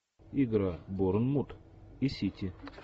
игра борнмут и сити